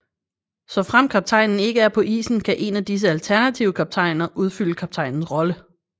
Såfremt kaptajnen ikke er på isen kan én af disse alternative kaptajner udfylde kaptajnens rolle